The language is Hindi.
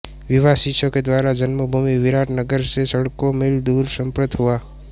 विवाह शिष्यों के द्वारा जन्मभूमि विराट नगर से सैंकड़ो मील दूर संपन्न हुआ